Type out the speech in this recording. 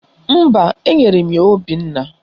Mba, enyere m ya Obinna